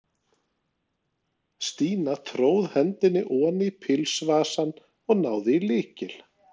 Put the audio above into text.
Stína tróð hendinni oní pilsvasann og náði í lykil.